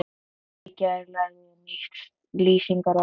Í gær lærði ég nýtt lýsingarorð.